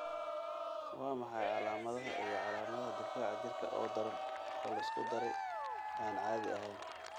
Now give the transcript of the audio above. Waa maxay calaamadaha iyo calaamadaha difaaca jirka oo daran oo la isku daray, aan caadi ahayn?